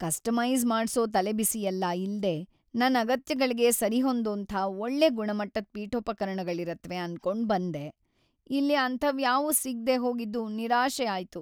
Customise ಮಾಡ್ಸೋ ತಲೆಬಿಸಿಯೆಲ್ಲ ಇಲ್ದೇ ನನ್ ಅಗತ್ಯಗಳ್ಗೆ ಸರಿಹೊಂದೋಂಥ ಒಳ್ಳೆ ಗುಣಮಟ್ಟದ್ ಪೀಠೋಪಕರಣಗಳಿರತ್ವೆ ಅನ್ಕೊಂಡ್‌ಬಂದೆ. ಇಲ್ಲಿ ಅಂಥವ್ಯಾವು ಸಿಗ್ದೇ ಹೋಗಿದ್ದು ನಿರಾಶೆ ಆಯ್ತು.